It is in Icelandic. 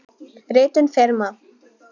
Ritun firma.